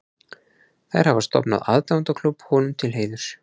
Þær hafa stofnað aðdáendaklúbb honum til heiðurs.